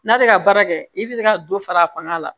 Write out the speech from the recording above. N'ale ka baara kɛ i bi ka dɔ fara fanga la